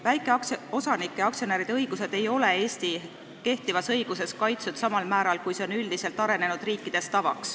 Väikeosanike ja -aktsionäride õigused ei ole Eesti kehtivas õiguses kaitstud samal määral, kui see on üldiselt tavaks arenenud riikides.